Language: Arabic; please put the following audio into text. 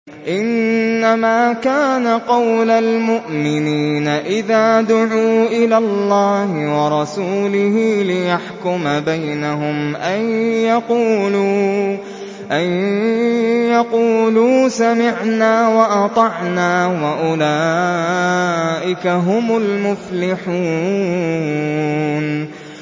إِنَّمَا كَانَ قَوْلَ الْمُؤْمِنِينَ إِذَا دُعُوا إِلَى اللَّهِ وَرَسُولِهِ لِيَحْكُمَ بَيْنَهُمْ أَن يَقُولُوا سَمِعْنَا وَأَطَعْنَا ۚ وَأُولَٰئِكَ هُمُ الْمُفْلِحُونَ